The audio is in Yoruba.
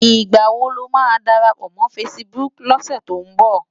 Nigbá ló má dárápò mò fãsibúk lòsè tó n bò?